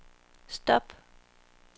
stop